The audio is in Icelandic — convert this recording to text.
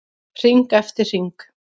Hring eftir hring.